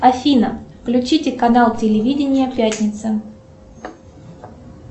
афина включите канал телевидения пятница